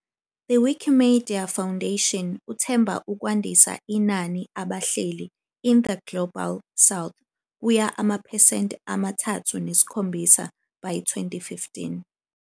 The Wikimedia Foundation uthemba ukwandisa inani abahleli in the Global South kuya amaphesenti amathathu nesikhombisa by 2015.